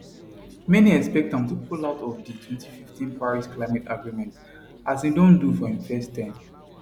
many expect am to pull out of di 2015 paris climate agreement as im do for im first term